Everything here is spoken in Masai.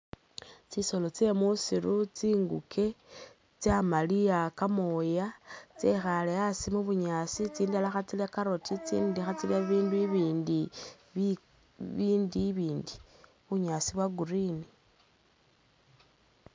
Tsisolo tsye musiru tsinguke, tsyamaliya kamooya, tsekhaale asi mu bunyaasi tsindala khatsilya carrot intsindi khatsilya ibindu ibindi bi bindu ibindi, bunyaasi bwa green.